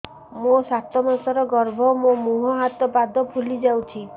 ମୋ ସାତ ମାସର ଗର୍ଭ ମୋ ମୁହଁ ହାତ ପାଦ ଫୁଲି ଯାଉଛି